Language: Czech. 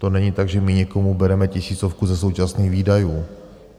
To není tak, že my někomu bereme tisícovku ze současných výdajů.